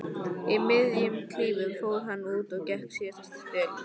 Í miðjum klíðum fór hann út og gekk síðasta spölinn.